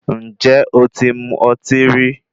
Ǹjé o ti mu ọtí rí?